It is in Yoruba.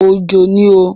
Òjò ni o.